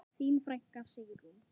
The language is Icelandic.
Þín frænka, Sigrún.